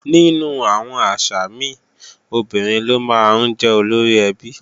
Nínú àwọn àṣà mi, obìnrin ló máa ń jẹ́ olóríẹbí